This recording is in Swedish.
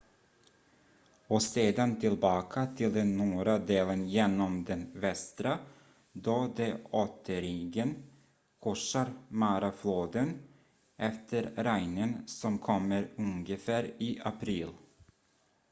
och sedan tillbaka till den norra delen genom den västra då de återigen korsar marafloden efter regnen som kommer ungefär i april